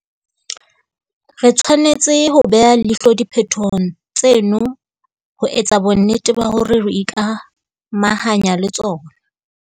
Re tshwanetse ho beha leihlo diphetohong tseno ho etsa bonnete ba hore re ikamahanya le tsona.